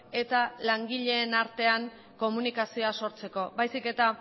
eta langileen artean komunikazioa sortzeko baizik eta